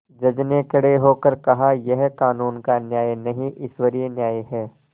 जज ने खड़े होकर कहायह कानून का न्याय नहीं ईश्वरीय न्याय है